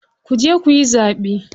Kuje kuyi zaɓe.